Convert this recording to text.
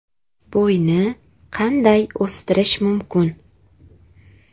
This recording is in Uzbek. Bo‘yni qanday o‘stirish mumkin?.